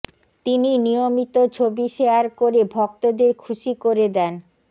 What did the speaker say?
তিনি নিয়মিত ছবি শেয়ার করে ভক্তদের খুশি করে দেন